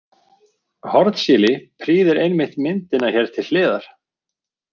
Hornsíli prýðir einmitt myndina hér til hliðar.